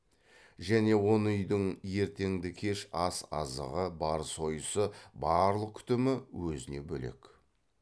және он үйдің ертеңді кеш ас азығы бар сойысы барлық күтімі өзіне бөлек